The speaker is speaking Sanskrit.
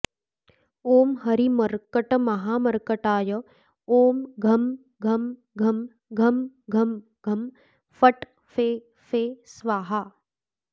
ओं हरिमर्कटमहामर्कटाय ओं घं घं घं घं घं घं फट् फे फे स्वाहा